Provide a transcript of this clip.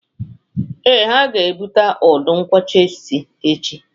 Ee, ha ga ebute udu nkwocha ise echi